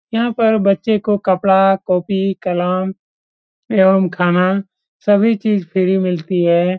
यहाँ पर बच्चे को कपड़ा कॉपी कलम एवं खाना सभी चीज फ्री मिलती है।